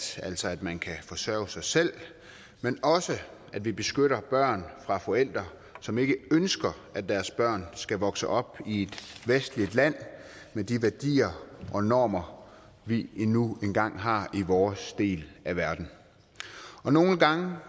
altså at man kan forsørge sig selv men også at vi beskytter børn fra forældre som ikke ønsker at deres børn skal vokse op i et vestligt land med de værdier og normer vi nu engang har i vores del af verden og nogle gange